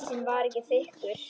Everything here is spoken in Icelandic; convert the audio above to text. Ísinn var ekki þykkur.